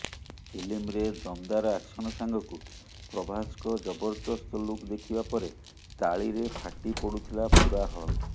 ଫିଲ୍ମରେ ଦମଦାର ଆକ୍ସନ ସାଙ୍ଗକୁ ପ୍ରଭାସଙ୍କ ଜବରଦସ୍ତ ଲୁକ ଦେଖିବା ପରେ ତାଳିରେ ଫାଟି ପଡୁଥିଲା ପୂରା ହଲ୍